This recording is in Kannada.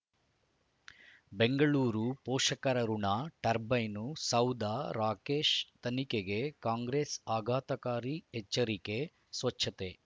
ಬೆಂಗಳೂರು ಪೋಷಕರಋಣ ಟರ್ಬೈನು ಸೌಧ ರಾಕೇಶ್ ತನಿಖೆಗೆ ಕಾಂಗ್ರೆಸ್ ಆಘಾತಕಾರಿ ಎಚ್ಚರಿಕೆ ಸ್ವಚ್ಛತೆ